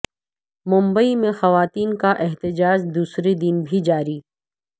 ممبئی میں خواتین کا احتجاج دوسرے دن بھی جاری